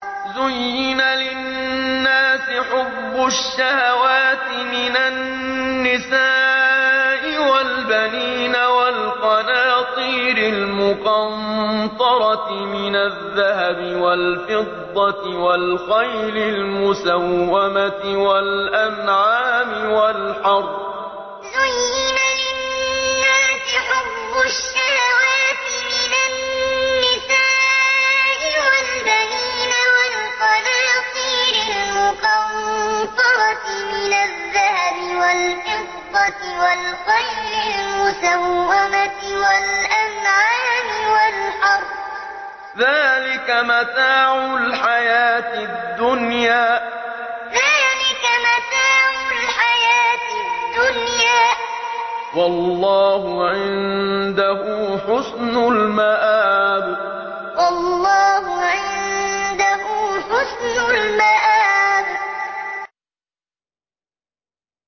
زُيِّنَ لِلنَّاسِ حُبُّ الشَّهَوَاتِ مِنَ النِّسَاءِ وَالْبَنِينَ وَالْقَنَاطِيرِ الْمُقَنطَرَةِ مِنَ الذَّهَبِ وَالْفِضَّةِ وَالْخَيْلِ الْمُسَوَّمَةِ وَالْأَنْعَامِ وَالْحَرْثِ ۗ ذَٰلِكَ مَتَاعُ الْحَيَاةِ الدُّنْيَا ۖ وَاللَّهُ عِندَهُ حُسْنُ الْمَآبِ زُيِّنَ لِلنَّاسِ حُبُّ الشَّهَوَاتِ مِنَ النِّسَاءِ وَالْبَنِينَ وَالْقَنَاطِيرِ الْمُقَنطَرَةِ مِنَ الذَّهَبِ وَالْفِضَّةِ وَالْخَيْلِ الْمُسَوَّمَةِ وَالْأَنْعَامِ وَالْحَرْثِ ۗ ذَٰلِكَ مَتَاعُ الْحَيَاةِ الدُّنْيَا ۖ وَاللَّهُ عِندَهُ حُسْنُ الْمَآبِ